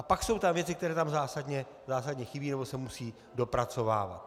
A pak jsou tam věci, které tam zásadně chybí nebo se musí dopracovávat.